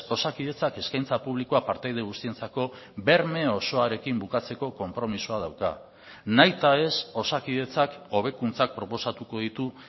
osakidetzak eskaintza publikoa partaide guztientzako berme osoarekin bukatzeko konpromisoa dauka nahita ez osakidetzak hobekuntzak proposatuko ditu